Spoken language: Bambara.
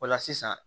O la sisan